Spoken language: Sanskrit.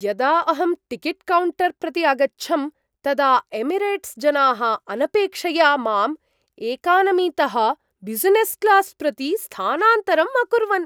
यदा अहं टिकेट्कौण्टर् प्रति अगच्छम् तदा एमिरेट्स्जनाः अनपेक्षया माम् एकनामीतः ब्युसिनेस्क्लास् प्रति स्थानान्तरम् अकुर्वन्।